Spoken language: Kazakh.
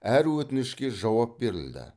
әр өтінішке жауап берілді